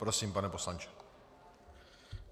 Prosím, pane poslanče.